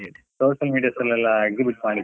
social medias ಅಲ್ಲೇಲ್ಲಾ exhibit ಮಾಡಿದ್ದೆ.